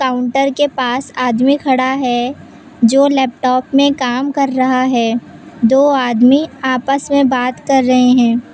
Counter के पास आदमी खड़ा है जो लैपटाप में काम कर रहा है दो आदमी आपस मे बात कर रहे हैं।